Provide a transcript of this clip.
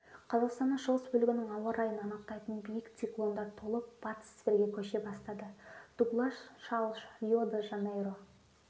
қазақстанның шығыс бөлігінің ауа райын анықтайтын биік циклондар толып батыс сібірге көше бастады дуглаш шалш рио-де-жанейро